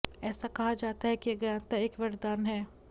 ऐसा कहा जाता है कि अज्ञानता एक वरदान है